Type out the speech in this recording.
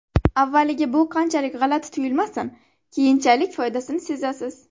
Avvaliga bu qanchalik g‘alati tuyulmasin keyinchalik foydasini sezasiz.